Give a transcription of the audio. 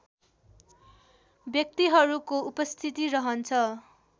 व्यक्तिहरूको उपस्थिति रहन्छ